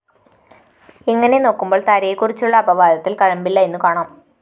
ഇങ്ങനെ നോക്കുമ്പോള്‍ താരയെക്കുറിച്ചുള്ള അപവാദത്തില്‍ കഴമ്പില്ല എന്നുകാണാം